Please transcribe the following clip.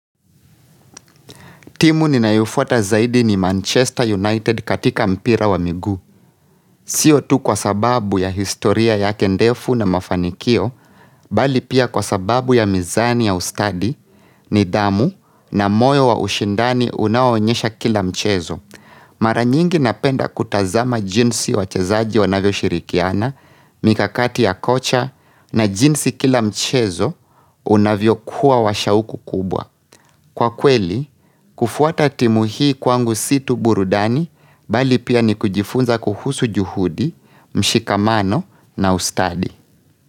Timu ninayofuata zaidi ni Manchester United katika mpira wa miguu. Sio tu kwa sababu ya historia yake ndefu na mafanikio, bali pia kwa sababu ya mizani ya ustadi ni dhamu na moyo wa ushindani unaoonyesha kila mchezo. Maranyingi napenda kutazama jinsi wachezaji wanavyo shirikiana, mikakati ya kocha na jinsi kila mchezo unavyo kuwa washauku kubwa. Kwa kweli, kufuata timu hii kwangu situ burudani bali pia ni kujifunza kuhusu juhudi, mshikamano na ustadi.